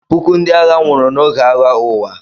Puku ndị agha nwụrụ n'oge Agha Ụwa.